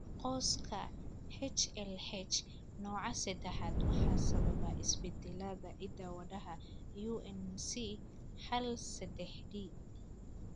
Qoyska HLH, nooca sedexaad waxaa sababa isbeddellada hidda-wadaha UNC hal sedex D.